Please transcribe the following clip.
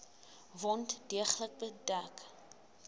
wond deeglik bedek